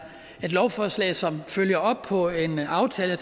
et lovforslag som følger op på en aftale